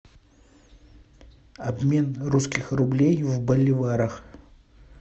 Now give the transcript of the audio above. обмен русских рублей в боливарах